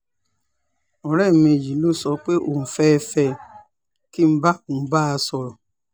ọ̀rẹ́ mi yìí ló sọ pé òun fẹ́ẹ́ fẹ́ ẹ kí n bá òun bá a sọ̀rọ̀